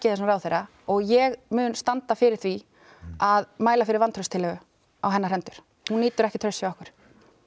þessum ráðherra og ég mun standa fyrir því að mæla fyrir vantrauststillögu á hennar hendur hún nýtur ekki trausts hjá okkur